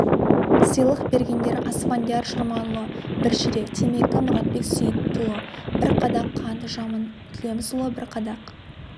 сыйлық бергендер асфандияр шорманұлы бір ширек темекі мұратбек сейітұлы бір қадақ қант жамын төлемісұлы бір қадақ